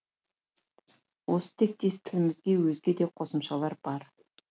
осы тектес тілімізде өзге де қосымшалар бар